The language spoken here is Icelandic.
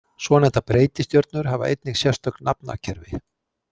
Svonefndar breytistjörnur hafa einnig sérstök nafnakerfi.